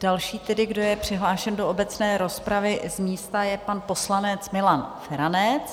Další tedy, kdo je přihlášen do obecné rozpravy z místa, je pan poslanec Milan Feranec.